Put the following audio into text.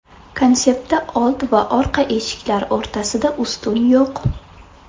Konseptda old va orqa eshiklar o‘rtasida ustun yo‘q.